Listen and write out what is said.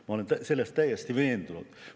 Ma olen selles täiesti veendunud.